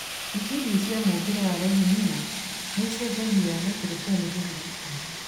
itindiĩ cia mũũmbĩre wa leguminous nĩicenjagia naitrojeni thĩinĩ wa tĩri